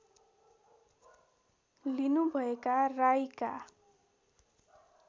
लिनुभएका राईका